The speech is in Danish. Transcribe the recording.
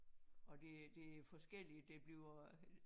Og det det forskellige der bliver